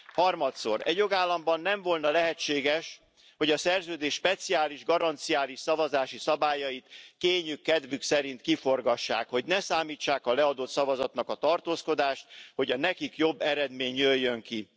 Harmadszor Egy jogállamban nem volna lehetséges, hogy a Szerződés speciális, garanciális szavazási szabályait kényük kedvük szerint kiforgassák, hogy ne számítsák a leadott szavazatnak a tartózkodást, hogy a nekik jobb eredmény jöjjön ki.